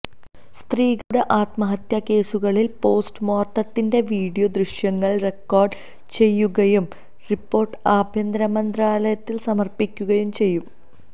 സ്ത്രീകളുടെ ആത്മഹത്യാകേസുകളില് പോസ്റ്റ്്മോര്ട്ടത്തിന്റെ വീഡിയോ ദ്യശ്യങ്ങള് റിക്കോര്ഡ് ചെയുകയും റിപ്പോര്ട്ട് ആഭ്യന്തരമന്ത്രാലയത്തിന് സമര്പ്പിക്കുകയും ചെയ്യും